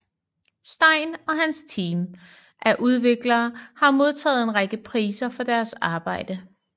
Stein og hans team af udviklere har modtaget en række priser for deres arbejde